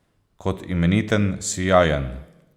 Kot imeniten, sijajen!